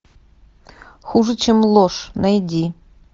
хуже чем ложь найди